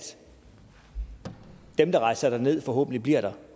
dem der rejser derned forhåbentlig bliver der